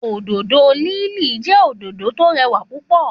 Òdòdó lili jẹ́ òdòdó tọ rẹwà púpọ̀